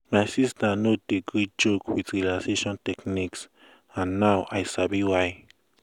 my sister no dey gree joke with relaxation techniques and now i sabi why.